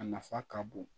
A nafa ka bon